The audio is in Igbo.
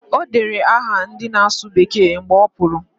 O dere aha ndị na-asụ bekee mgbe ọ pụrụ